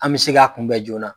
An bɛ se k'a kun bɛ joona.